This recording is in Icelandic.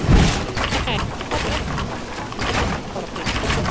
Nei, það er ekki hann, ég er alveg klár á því.